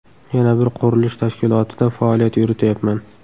Yana bir qurilish tashkilotida faoliyat yurityapman.